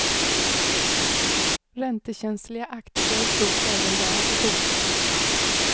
Räntekänsliga aktier stod även där i fokus.